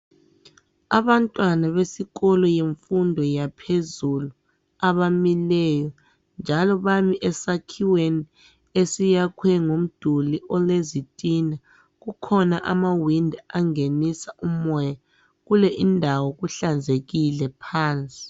Abantwana besikolo bemfundo yaphezulu abamileyo, njalo bami esakhiweni esiyakhwe ngomduli wezitina. Kukhona amawindi angenisa umoya kule indawo, kuhlanzekile phansi.